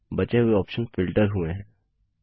बचे हुए option filter हुए हैं